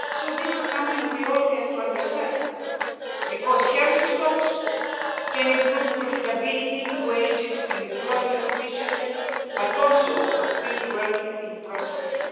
This is something we all need to understand because healthy stocks can improve profitability and the wages and employment of fishermen, and also of people working in processing